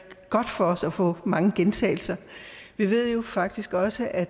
godt for os at få mange gentagelser vi ved jo faktisk også at